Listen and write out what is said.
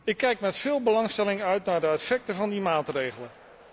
Ik kijk met veel belangstelling uit naar de effecten van die maatregelen.